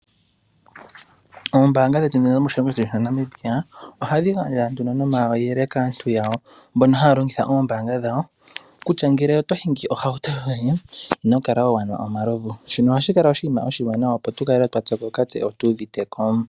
Oombanga dhetu dhono dhomoshilongo shetu shaNamibia , ohadhi gandja nduno nomayele kaantu yawo. Mbono haa longitha oombanga dhawo, kutya ngele oto hingi ohauto yoye ino kala wanwa omalovu. Shono ohashi kala oshiima oshiwanawa, opo tukale twa pyokoka tse otuviteko.